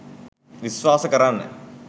විස්වාස කරන්න